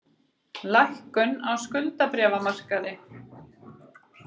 Lækkun á skuldabréfamarkaði